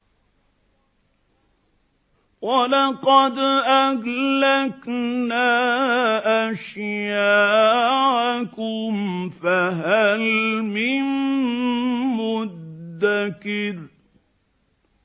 وَلَقَدْ أَهْلَكْنَا أَشْيَاعَكُمْ فَهَلْ مِن مُّدَّكِرٍ